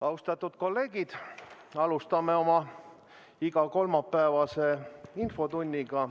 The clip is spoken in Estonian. Austatud kolleegid, alustame oma igakolmapäevast infotundi.